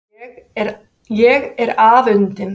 Ég er afundin.